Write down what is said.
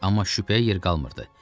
Amma şübhəyə yer qalmırdı.